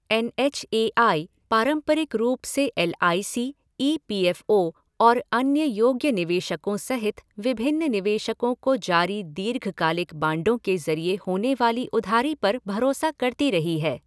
N H A I पारंपरिक रूप से L I C, E PF O और अन्य योग्य निवेशकों सहित विभिन्न निवेशकों को जारी दीर्घकालिक बांडों के जरिए होने वाली उधारी पर भरोसा करती रही है।